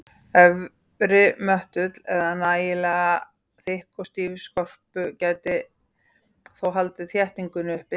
Efri möttull eða nægilega þykk og stíf skorpu gæti þó haldið þéttingunni uppi.